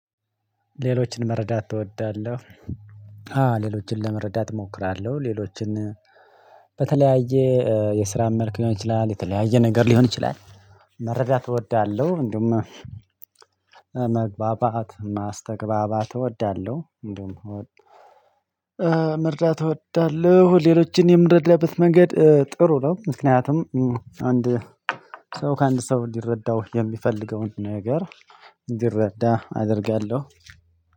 ሌሎችን መረዳት እወዳለሁ። አዎ ሌሎችን ለመረዳት እሞክራለሁ ሌሎችን። በተለያየ የስራም መልኩ ሊሆን ይችላል የተለያየ ነገር ሊሆን ይችላል። መረዳት እወዳለሁ። እንደውም መግባባት ማስተግባባት እወዳለሁ። እንደውም። መርዳት እወዳለሁ ሌሎችን የምረዳበት መንገድ ጥሩ ነው። ምክንያቱም አንድ ሰው ከአንድ ሰው እንዲረዳው የሚፈልገውን ነገር እንዲረዳ አደርጋለሁ